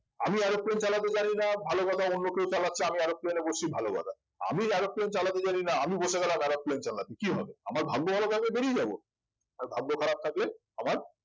আমি aeroplane চালাতে জানি না ভালো কথা অন্য কেউ চালাচ্ছে আমি aeroplane এ বসছি ভালো কথা আমি aeroplane চালাতে জানিনা আমি বসে গেলাম aeroplane চালাতে কি হবে আমার ভাগ্য ভালো থাকলে বেরিয়ে যাব আর ভাগ্য খারাপ থাকলে আমার